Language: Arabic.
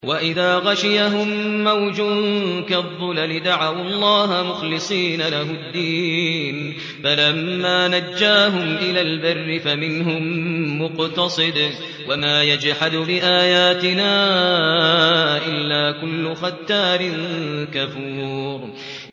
وَإِذَا غَشِيَهُم مَّوْجٌ كَالظُّلَلِ دَعَوُا اللَّهَ مُخْلِصِينَ لَهُ الدِّينَ فَلَمَّا نَجَّاهُمْ إِلَى الْبَرِّ فَمِنْهُم مُّقْتَصِدٌ ۚ وَمَا يَجْحَدُ بِآيَاتِنَا إِلَّا كُلُّ خَتَّارٍ كَفُورٍ